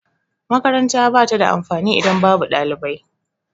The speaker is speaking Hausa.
Makaranta ba ta da amfani idan babu ɗalibai.